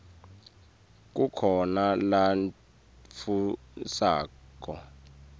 kukhona nalatfusako